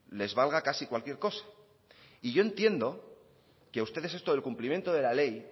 les valga casi cualquier cosa y yo entiendo que a ustedes esto del cumplimiento de la ley